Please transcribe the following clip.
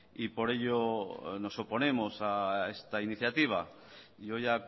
y por ello nos oponemos a esta iniciativa yo ya